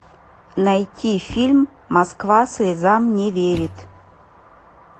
найти фильм москва слезам не верит